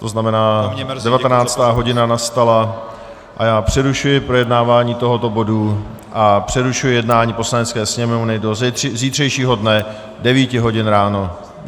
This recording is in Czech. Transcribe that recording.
To znamená, 19. hodina nastala a já přerušuji projednávání tohoto bodu a přerušuji jednání Poslanecké sněmovny do zítřejšího dne 9 hodin ráno.